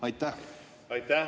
Aitäh!